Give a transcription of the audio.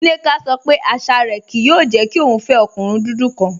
Nneka sọ pé àṣà rẹ kìí yòò jẹ́ kí o fẹ ọ̀kùnrin dúdú kan